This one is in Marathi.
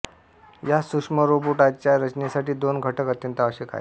या सुक्ष्मरोबोटाच्या रचनेसाठी दोन घटक अत्यंत अवश्यक आहेत